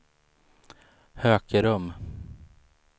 Hökerum